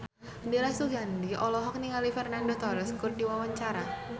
Dira Sugandi olohok ningali Fernando Torres keur diwawancara